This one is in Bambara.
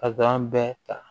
A b'an bɛɛ ta